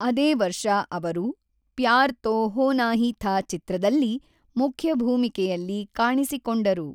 ಅದೇ ವರ್ಷ ಅವರು ಪ್ಯಾರ್ ತೋ ಹೋನಾ ಹೀ ಥಾ ಚಿತ್ರದಲ್ಲಿ ಮುಖ್ಯ ಭೂಮಿಕೆಯಲ್ಲಿ ಕಾಣಿಸಿಕೊಂಡರು.